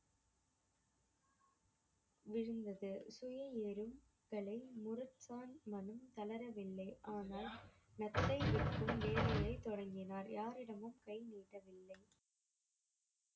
விழுந்தது மனம் தளரவில்லை ஆனால் வேலையைதொடங்கினார் யாரிடமும் கை நீட்டவில்லை